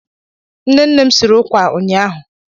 Nne nne m siri ụkwà ụnyaahụ.